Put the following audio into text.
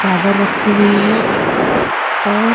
चादर रखी हुई है और --